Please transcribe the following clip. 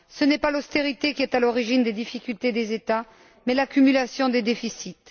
Ce n'est pas l'austérité qui est à l'origine des difficultés des États mais l'accumulation des déficits.